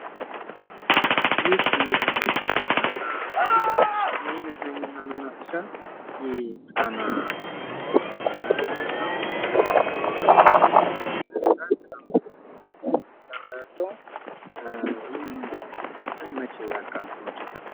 ይህ እንግዲህ የመዝናኛ እና የመናፈሻ ምሳሌ ነው። ይህ የመዝናኛ እና የመናፈሻ የጣና አካባቢ የተሰራ ይመስላል። ከዚያ ነው እየተሰራ ያለው እሂ ፕሮጀክት መቸ ያልቃል።